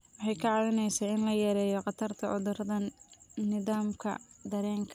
Waxay kaa caawinaysaa in la yareeyo khatarta cudurrada nidaamka dareenka.